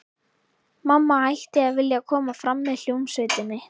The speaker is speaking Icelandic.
Mamma hætti að vilja koma fram með hljómsveitinni.